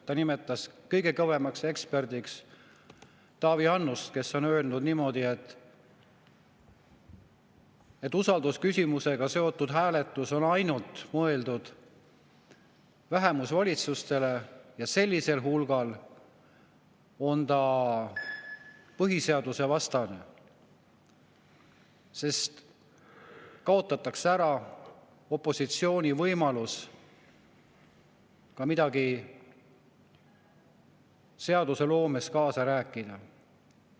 Ta nimetas kõige kõvemaks eksperdiks Taavi Annust, kes on öelnud niimoodi, et usaldusküsimusega seotud hääletus on mõeldud ainult vähemusvalitsustele ja sellisel hulgal on ta põhiseadusevastane, sest kaotatakse ära opositsiooni võimalus seadusloomes kaasa rääkida.